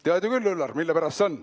Tead ju küll, Üllar, mille pärast see on.